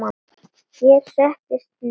Hér settist Ninna að.